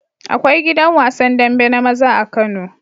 Akwai gidan wasan dambe na maza a kano